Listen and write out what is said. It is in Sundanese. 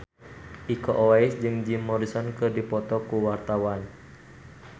Iko Uwais jeung Jim Morrison keur dipoto ku wartawan